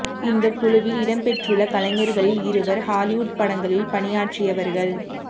இந்தக் குழுவில் இடம் பெற்றுள்ள கலைஞர்களில் இருவர் ஹாலிவுட் படங்களில் பணியாற்றியவர்கள்